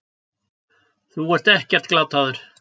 Þú ert ekkert glataður.